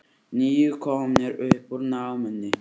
Níu komnir upp úr námunni